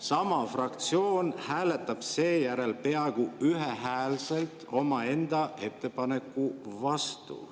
Sama fraktsioon hääletab seejärel peaaegu ühehäälselt omaenda ettepaneku vastu.